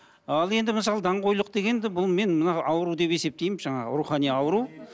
ал енді мысалы даңғойлық дегенді бұл мен мына ауру деп есептеймін жаңағы рухани ауру